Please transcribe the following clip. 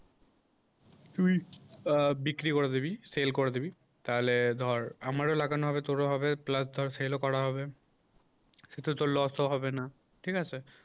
তুই আ বিক্রি করে দিবি সেল করে দিবি তাহলে ধর আমার লাগানো হবে তোরও হবে plus ধর sale ও করা হবে সেটা তো লস ও হবে না, ঠিক আছে